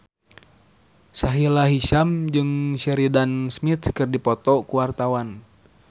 Sahila Hisyam jeung Sheridan Smith keur dipoto ku wartawan